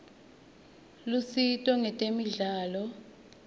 lusito ngetemidlalo